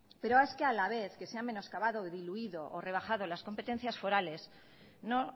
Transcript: pero es que a la vez que se ha menoscabado diluido o rebajado las competencias forales no